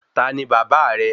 Tani bàbá rẹ?